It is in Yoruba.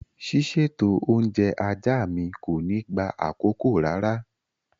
Ṣíṣètò oúnjẹ ajá mi kò ní gba àkókò rárá.